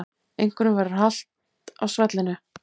Einhverjum verður halt á svellinu